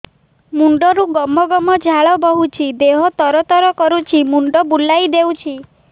ମୁଣ୍ଡରୁ ଗମ ଗମ ଝାଳ ବହୁଛି ଦିହ ତର ତର କରୁଛି ମୁଣ୍ଡ ବୁଲାଇ ଦେଉଛି